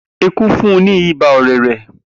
Eku fun un ni iba orere.